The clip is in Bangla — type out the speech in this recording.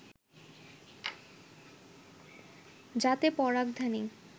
যাতে পরাগধানী